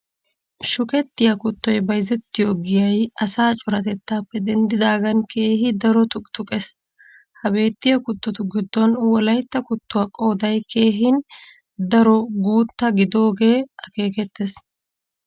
Shukettiya kuttoy bayzettiyo giyay asaa coratettaappe denddidaagan keehi daro tuqqituqqes. Ha beettiya kuttotu giddon Wolaytta kuttuwa qooday keehin daro guutta gidogee akeekettes.